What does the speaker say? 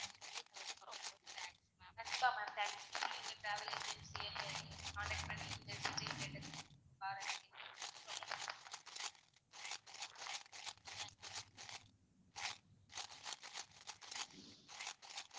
கண்டிப்பா ma'am thank you நீங்க எங்க travel agency ய contact பண்ணி detail கேட்டதுக்கு .